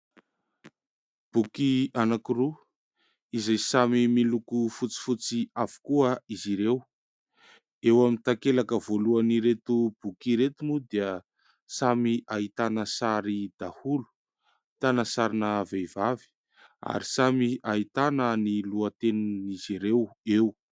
Boky anankiroa izay samy miloko fotsifotsy avokoa izy ireo, eo amin'ny takelaka voalohany ireto boky ireto moa dia samy ahitana sary daholo, ahitana sarina vehivavy ary samy ahitana ny lohatenin'izy ireo eo.